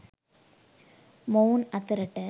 මොවුන් අතරට